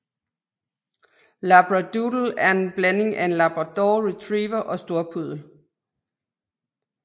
Labradoodle er en blanding af labrador retriever og storpuddel